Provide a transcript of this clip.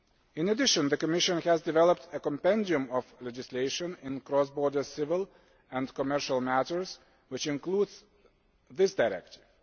In addition, the Commission has developed a compendium of legislation in cross border civil and commercial matters, which includes this directive.